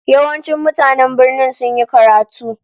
Yawancin mutanen birnin sun yi karatu